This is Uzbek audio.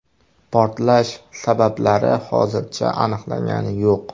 Portlash sabablari hozircha aniqlangani yo‘q.